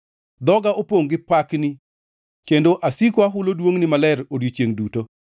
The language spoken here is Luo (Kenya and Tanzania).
Dhoga opongʼ gi pakni, kendo asiko ahulo duongʼni maler odiechiengʼ duto.